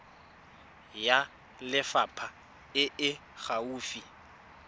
ya lefapha e e gaufi